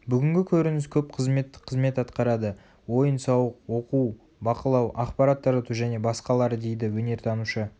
бүгінгі көрініс көп қызметтік қызмет атқарады ойын-сауық оқу бақылау ақпарат тарату және басқалары дейді өнертанушы